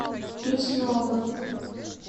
лесного